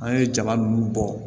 An ye jaba nunnu bɔ